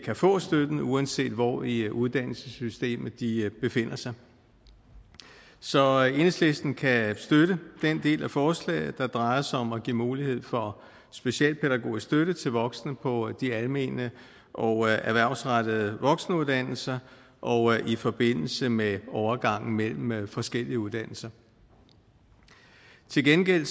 kan få støtten uanset hvor i uddannelsessystemet de befinder sig så enhedslisten kan støtte den del af forslaget der drejer sig om at give mulighed for specialpædagogisk støtte til voksne på de almene og erhvervsrettede voksenuddannelser og i forbindelse med overgangen mellem mellem forskellige uddannelser til gengæld